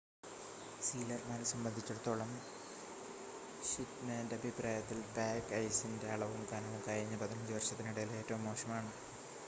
സീലർമാരെ സംബന്ധിച്ചിടത്തോളം പിറ്റ്‌മാൻ്റെ അഭിപ്രായത്തിൽ പായ്ക്ക് ഐസിൻ്റെ അളവും കനവും കഴിഞ്ഞ 15 വർഷത്തിനിടയിൽ ഏറ്റവും മോശമാണ്